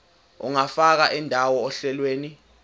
ungafaka indawo ohlelweni